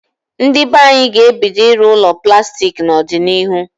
Ndị be anyị ga-ebido ịrụ ụlọ plastik n'odịnihu